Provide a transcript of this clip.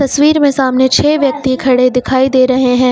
तस्वीर में सामने छे व्यक्ति खड़े दिखाई दे रहे हैं।